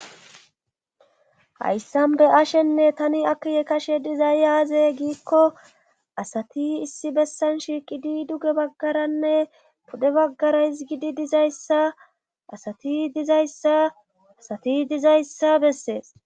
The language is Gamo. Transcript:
Hayssan be ashenne tani akiye kashe dizayyaaze giikko asati issi bessan shiiqidi duge baggaranne pudde baggara his gidi dizayssa asati dizayssaasati dizayssa bessees.